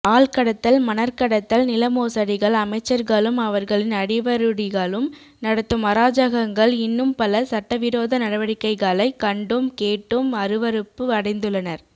ஆள்கடத்தல் மணற்கடத்தல் நிலமோசடிகள் அமைச்சர்களும் அவர்களின் அடிவருடிகளும் நடத்தும் அராஜகங்கள் இன்னும்பல சட்டவிரோத நடவடிக்கைகளை கண்டும் கேட்டும் அறுவறுப்பு அடைந்துள்ளனர்